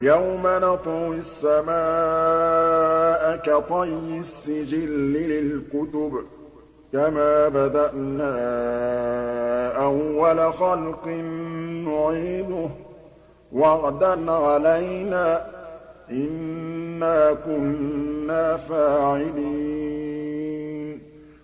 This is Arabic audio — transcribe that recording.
يَوْمَ نَطْوِي السَّمَاءَ كَطَيِّ السِّجِلِّ لِلْكُتُبِ ۚ كَمَا بَدَأْنَا أَوَّلَ خَلْقٍ نُّعِيدُهُ ۚ وَعْدًا عَلَيْنَا ۚ إِنَّا كُنَّا فَاعِلِينَ